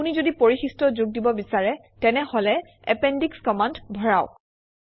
আপুনি যদি পৰিশিষ্ট যোগ দিব বিচাৰে তেনেহলে এপেণ্ডিশ কমাণ্ড ভৰাওক